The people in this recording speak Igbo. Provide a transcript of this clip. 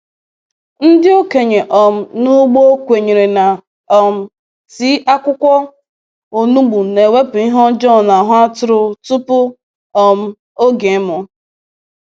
Ndị okenye um n’ugbo kwenyere na um tii akwukwo onugbu na-ewepụ ihe ọjọọ n’ahụ atụrụ tupu um oge ịmụ.